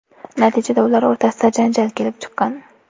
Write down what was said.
Natijada ular o‘rtasida janjal kelib chiqqan.